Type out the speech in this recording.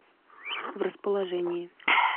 в расположении